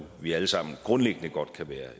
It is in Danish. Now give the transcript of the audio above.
vi alle sammen grundlæggende godt kan være